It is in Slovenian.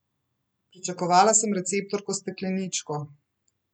Pričakovala sem receptorko s stekleničko.